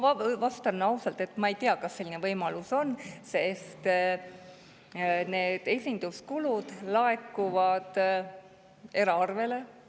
Ma vastan ausalt, et ma ei tea, kas selline võimalus on, sest need esinduskuludeks laekuvad eraarvele.